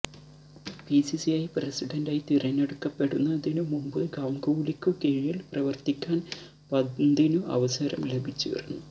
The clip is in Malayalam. ബിസിസിഐ പ്രസിഡന്റായി തിരഞ്ഞെടുക്കപ്പെടുന്നതിനു മുമ്പ് ഗാംഗുലിക്കു കീഴില് പ്രവര്ത്തിക്കാന് പന്തിനു അവസരം ലഭിച്ചിരുന്നു